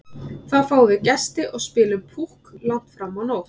Þá fáum við gesti og spilum Púkk langt fram á nótt.